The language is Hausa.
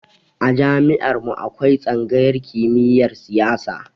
A jami'ar mu akwai tsangayar kimiyar siyasa